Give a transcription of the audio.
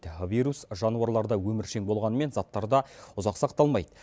вирус жануарларда өміршең болғанымен заттарда ұзақ сақталмайды